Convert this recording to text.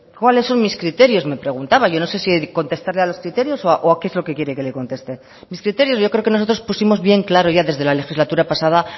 cuáles son mis criterios me preguntaba yo no sé si contestarle a los criterios o a qué es lo que quiere que le conteste mis criterios yo creo que nosotros pusimos bien claro ya desde la legislatura pasada